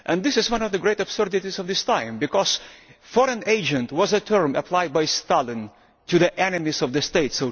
This is one of the great absurdities of this time because foreign agent' was a term applied by Stalin to the enemies of the state.